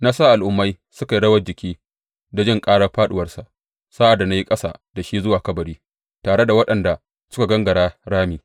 Na sa al’ummai suka yi rawar jiki da jin ƙarar fāɗuwarsa sa’ad da na yi ƙasa da shi zuwa kabari tare da waɗanda suka gangara rami.